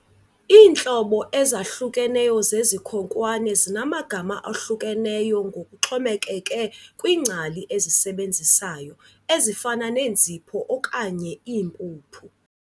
Iintlobo ezahlukeneyo zezikhonkwane zinamagama ahlukeneyo ngokuxhomekeke kwiingcali ezisebenzayo, ezifana neenzipho okanye iimpuphu.